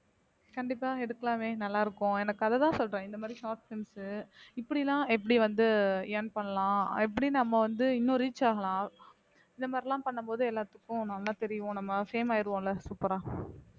கண்டிப்பா எடுக்கலாமே நல்லா இருக்கும் எனக்கு அதத்தான் சொல்றேன் இந்த மாதிரி short films உ இப்படில்லாம் எப்படி வந்து earn பண்ணலாம் எப்படி நம்ம வந்து இன்னும் reach ஆகலாம் இந்த மாதிரிலாம் பண்ணும்போது எல்லாத்துக்கும் நல்லா தெரியும் நம்ம fame ஆயிடுவோம்ல super ஆ